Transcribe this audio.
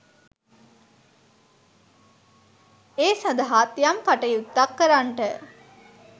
ඒ සඳහාත් යම් කටයුත්තක් කරන්නට